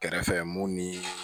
Kɛrɛfɛ mun ni